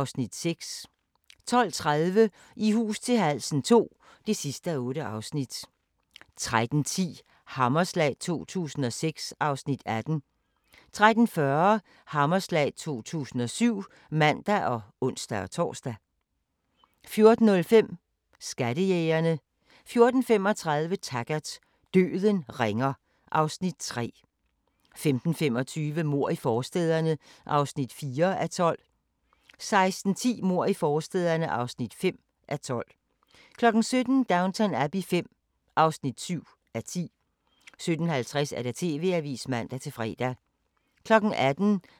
15:40: Tidsmaskinen * 16:30: De vilde 60'ere: Vietnam 1964-1969 (6:10)* 17:10: Din yndlingsmad: Chokoladefabrikken * 18:10: Husker du ... 1993 19:00: Felix og vagabonden (1:8) 19:30: Felix og vagabonden (2:8) 20:00: Hvor farligt er kød? 20:45: Asger og de nye danskere (3:6) 21:30: Vold i hjemmet – når den elskede slår 23:00: Hemmelige amerikanske missioner (1:8)